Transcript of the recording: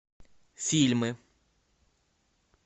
фильмы